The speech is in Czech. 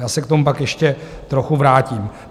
Já se k tomu pak ještě trochu vrátím.